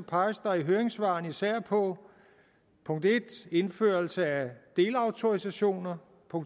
peges der i høringssvarene især på 1 indførelsen af delautorisationer